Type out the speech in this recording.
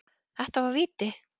Þetta var víti.